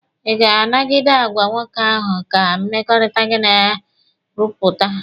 Ị ga-anagide agwa nwoke ahụ ka mmekọrịta gị na ya rụpụta?